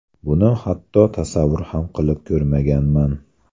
Buni hatto tasavvur ham qilib ko‘rmaganman.